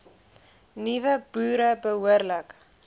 nuwe boere behoorlik